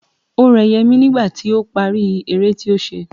O rẹ Yẹmí nígbà tí ó parí eré tí ó ṣe.